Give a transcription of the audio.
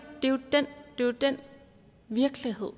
jo den virkelighed